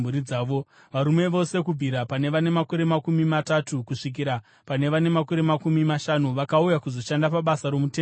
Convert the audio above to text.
Varume vose kubvira pane vane makore makumi matatu kusvikira pane vane makore makumi mashanu, vakauya kuzoshanda pabasa romuTende Rokusangana,